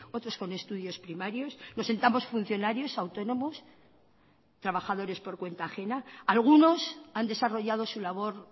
otros con estudios primarios nos sentamos funcionarios autónomos trabajadores por cuenta ajena algunos han desarrollado su labor